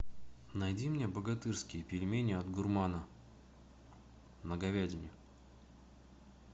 найди мне богатырские пельмени от гурмана на говядине